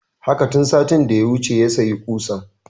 Haka, tun satin da ya wuce ya sayi ƙusan